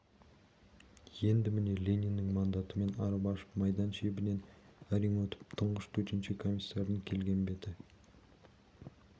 енді міне лениннің мандатымен арып-ашып майдан шебінен әрең өтіп тұңғыш төтенше комиссардың келген беті